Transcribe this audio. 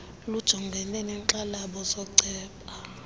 lujongane neenkxalabo zooceba